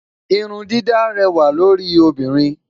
Irun dídá réwà lórí obinrin